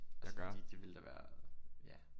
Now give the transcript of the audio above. Altså fordi det ville da være ja